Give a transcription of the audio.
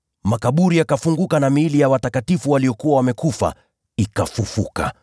Makaburi yakafunguka na miili ya watakatifu waliokuwa wamekufa ikafufuliwa.